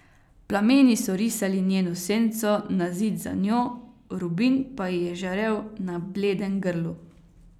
Plameni so risali njeno senco na Zid za njo, rubin pa ji je žarel na bledem grlu.